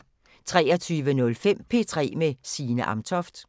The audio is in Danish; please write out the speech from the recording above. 23:05: P3 med Signe Amtoft